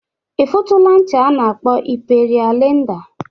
Ị funugo ncha a na-akpọ Imperia Leda?